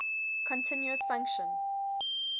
continuous function